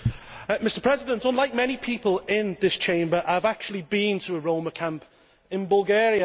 Mr President, unlike many people in this Chamber I have actually been to a Roma camp in Bulgaria.